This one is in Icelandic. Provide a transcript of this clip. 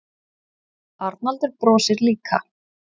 Arnaldur brosir líka.